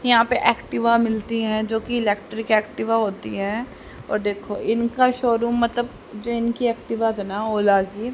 यहां पर एक्टिवा मिलती है जो की इलेक्ट्रिक एक्टिवा होती है और देखो इनका शोरूम मतलब जैन की एक्टिवा है ना ओला की --